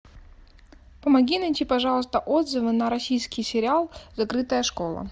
помоги найти пожалуйста отзывы на российский сериал закрытая школа